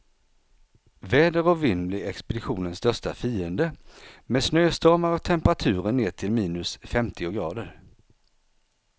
Väder och vind blir expeditionens största fiender, med snöstormar och temperaturer ner till minus femtio grader.